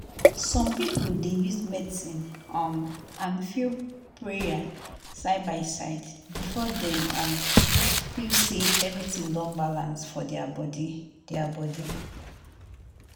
some people dey use medicine um and prayer side by side before dem um feel say everything don balance for their body. their body.